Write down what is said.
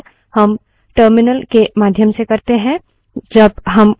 जब हम command का निष्पादन करते हैं हम साधारणतः keyboard से type करते हैं